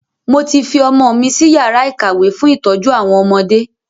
Mo ti fi ọmọ mi si yàrá ìkàwé fún ìtọ́jú àwọn ọmọdé